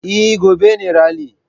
Eh, gobe ne rali